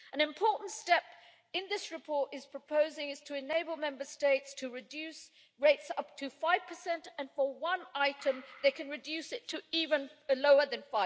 An important step that this report is proposing is to enable Member States to reduce rates up to 5, and for one item they can reduce it to even lower than